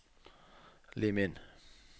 Lim inn